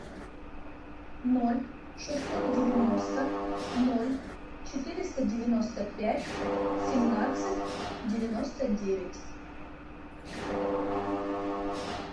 ноль шестьсот девяносто ноль четыреста девяносто пять семнадцать девяносто девять